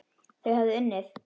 Þau höfðu unnið.